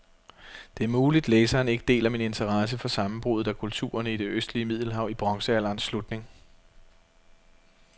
Det er muligt, læseren ikke deler min interesse for sammenbruddet af kulturerne i det østlige middelhav i bronzealderens slutning.